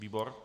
Výbor?